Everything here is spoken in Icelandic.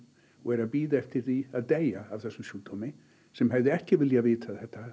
og er að bíða eftir því að deyja af þessum sjúkdómi sem hefði ekki viljað vita þetta